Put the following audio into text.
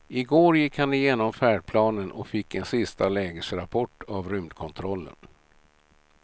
I går gick han igenom färdplanen och fick en sista lägesrapport av rymdkontrollen.